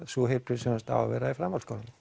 sú heilbrigðisþjónusta á að vera í framhaldsskólum